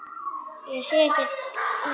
Sér ekki í hvítt.